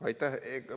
Aitäh!